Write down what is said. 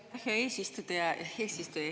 Aitäh, hea eesistuja!